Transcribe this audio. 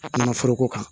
A kana foroko kan